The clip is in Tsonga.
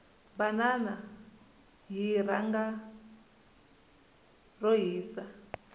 banana hi rhanga ro hisa